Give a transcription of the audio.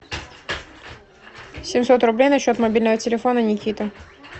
семьсот рублей на счет мобильного телефона никита